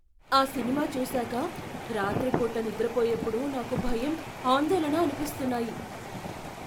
ఆ సినిమా చూసాక రాత్రిపూట నిద్రపోయేప్పుడు నాకు భయం, అందోళన అనిపిస్తున్నాయి.